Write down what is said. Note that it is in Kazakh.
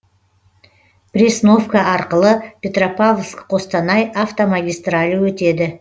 пресновка арқылы петропавловск қостанай автомагистралі өтеді